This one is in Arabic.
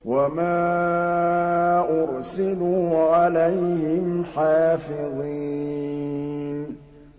وَمَا أُرْسِلُوا عَلَيْهِمْ حَافِظِينَ